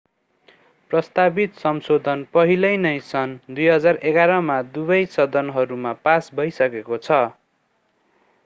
प्रस्तावित संशोधन पहिले नै सन् 2011 मा दुवै सदनहरूमा पास भइसकेको छ